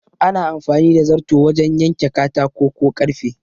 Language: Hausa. Ana amfani da zarto wajan yanke katako ko karfe